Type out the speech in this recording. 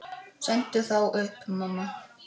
Sendu þá upp, mamma.